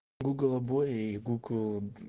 гугл обои и гугл